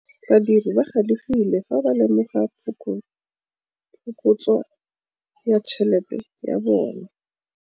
Badiri ba galefile fa ba lemoga phokotsô ya tšhelête ya bone.